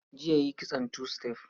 Jiya yi kitson tu-sitef